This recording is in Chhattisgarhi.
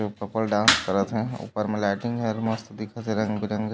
जो कपल डांस करत हे ऊपर में लाइटिंग हे एदे मस्त दिखत हे रंग बिरंगा --